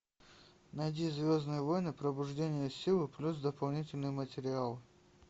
найди звездные войны пробуждение силы плюс дополнительный материал